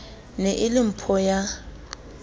ne e le mpho ya